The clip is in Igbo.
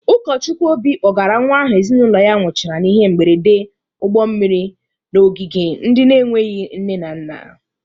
Ụkọchukwu Obi kpọgara nwa ahụ ezinụlọ ya nwụchara n'ihe mgberede ụgbọ mmiri n'ogige ndị na-enweghi nne na nna.